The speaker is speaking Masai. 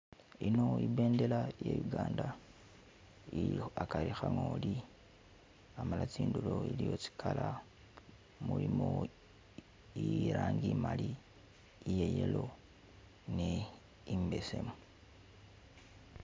Eino ibendela iya Uganda ilikho hagari ka ngoli hamala tsidulo iliyo tsi color. mulimo ilangi imali iye yellow ni imbesemu